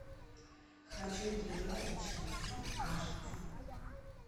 хочу тренировочный день аш ди